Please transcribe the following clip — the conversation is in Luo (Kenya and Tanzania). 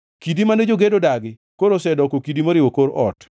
Kidi mane jogedo odagi koro osedoko kidi moriwo kor ot;